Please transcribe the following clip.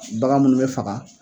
bagan munnu bɛ faga